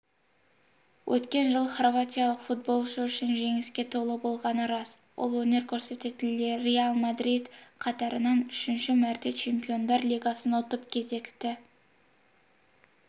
өткен жыл хорватиялық футболшы үшін жеңіске толы болғаны рас ол өнер көрсететін реал мадрид қатарынан үшінші мәрте чемпиондар лигасын ұтып кезекті